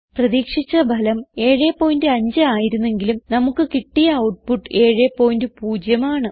പ്രതീക്ഷിച്ച ഫലം 75 ആയിരുന്നെങ്കിലും നമുക്ക് കിട്ടിയ ഔട്ട്പുട്ട് 70 ആണ്